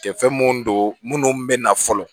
Kɛfɛn mun don minnu bɛ na fɔlɔ